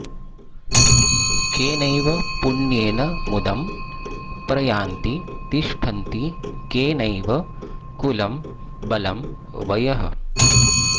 केनैव पुण्येन मुदं प्रयान्ति तिष्ठन्ति केनैव कुलं बलं वयः